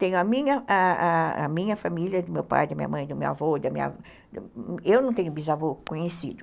Tenho a minha família, a a do meu pai, da minha mãe, do meu avô, eu não tenho bisavô conhecido.